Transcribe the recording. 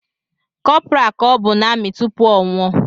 Corporal ka ọbụ n’amị tupu ọnwụ o